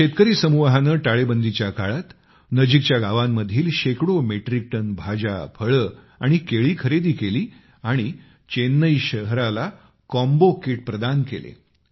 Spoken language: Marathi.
या शेतकरी समूहाने टाळेबंदीच्या काळात नजीकच्या गावांमधील शेकडो मेट्रिक टन भाज्या फळे आणि केळी खरेदी केली आणि चेन्नई शहराला कॉम्बो किट प्रदान केले